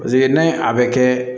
Paseke n'a ye a bɛ kɛ